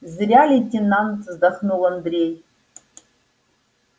зря лейтенант вздохнул андрей